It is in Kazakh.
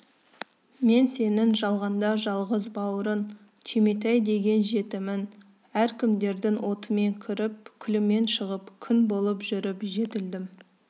мен сенің жалғанда жалғыз бауырың түйметай деген жетімің әркімдердің отымен кіріп күлімен шығып күң болып жүріп жетілдім